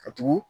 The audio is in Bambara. Ka tugu